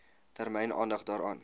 termyn aandag daaraan